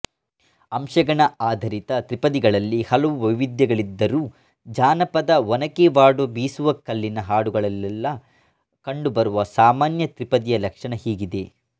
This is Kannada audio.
ಅಂಶಗಣ ಆಧಾರಿತ ತ್ರಿಪದಿಗಳಲ್ಲಿ ಹಲವು ವೈವಿಧ್ಯಗಳಿದ್ದರೂ ಜಾನಪದ ಒನಕೆವಾಡುಬೀಸುವಕಲ್ಲಿನ ಹಾಡುಗಳಲ್ಲೆಲ್ಲ ಕಂಡುಬರುವ ಸಾಮಾನ್ಯ ತ್ರಿಪದಿಯ ಲಕ್ಷಣ ಹೀಗಿದೆ